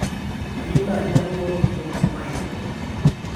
kayieu naaji natumore olkitok amu aipoto